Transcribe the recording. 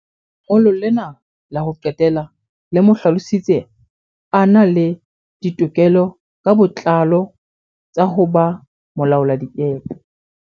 Lengolo lena la ho qetela le mo hlalositse a na le ditokelo ka botlalo tsa ho ba molaoladikepe.